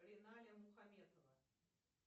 риналя мухаметова